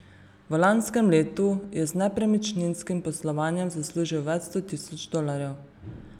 V lanskem letu je z nepremičninskim poslovanjem zaslužil več sto tisoč dolarjev.